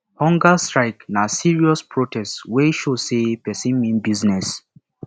hunger strike na serious protest wey show say pesin mean business